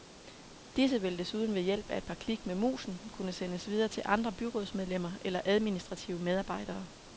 Disse vil desuden ved hjælp af et par klik med musen kunne sendes videre til andre byrådsmedlemmer eller administrative medarbejdere.